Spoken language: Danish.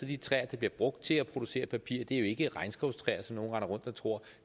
de træer der bliver brugt til at producere papiret jo ikke regnskovstræer som nogle render rundt og tror